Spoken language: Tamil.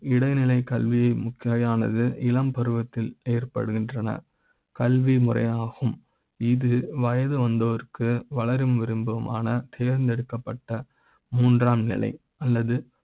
இடைநிலை க் கல்வியை முக்கியமானது. இளம் பருவ த்தில் ஏற்படுகின்றன கல்வி முறை யாகும் இது வயது வந்தோருக்கு வளரும் விரும்ப மான தேர்ந்தெடுக்கப்பட்ட மூன்றாம் நிலை. அல்லது